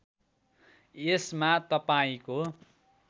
यसमा तपाईँको